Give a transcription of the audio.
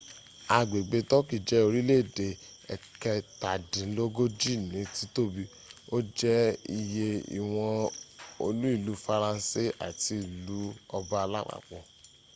agbẹ̀gbẹ̀ turkey jẹ́ orílé-èdè ẹ̀kẹtàdínlógójí ní tìtòbi o jẹ iyẹ ìwọ̀n olú ílu faransé àti ílu ọba lápapò